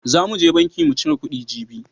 Zan mu je banki mu cire kuɗi jibi..